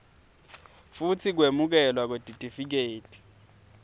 futsi kwemukelwa kwetitifiketi